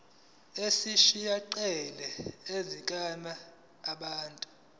ezisihaqile zenhlalakahle yabantu